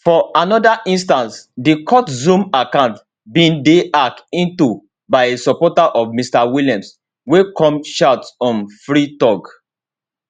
for anoda instance di court zoom account bin dey hacked into by a supporter of mr williams wey come shout um free thug